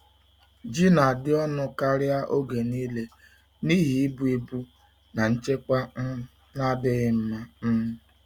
Ji na-adị ọnụ karịa oge niile n’ihi ibu ibu na nchekwa um na-adịghị mma. um